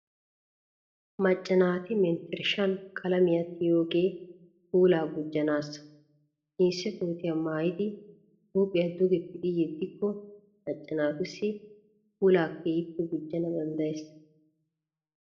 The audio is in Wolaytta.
Macca naati menttershshan qalamiya tiyiyoogee puulaa gujjanaassa. Jinsse kootiya mayyidi huuphiyaa duge pixi yeddikko macca naatussi puulaa keehippe gujjana danddayees.